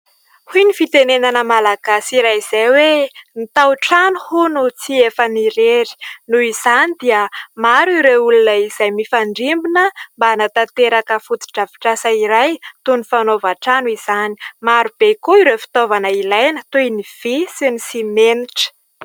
Hoy ny fitenenana malagasy iray izay hoe : ''Ny tao-trano tsy efan'irery'' noho izany dia maro ireo olona izay mifandrimbona mba hanatanteraka foto-drafitr'asa iray, toy ny fanaova-trano izany, maro be koa ireo fitaovana ilaina toy ny vy sy ny simenitra.